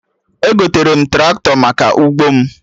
Egotere m Traktọ maka ụgbọ m